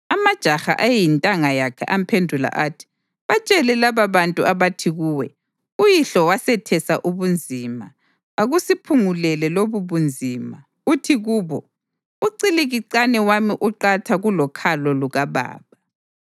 Amajaha ayeyintanga yakhe amphendula athi, “Batshele lababantu abathi kuwe, ‘Uyihlo wasethesa ubunzima, akusiphungulele lobubunzima’ uthi kubo, ‘Ucikilicane wami uqatha kulokhalo lukababa.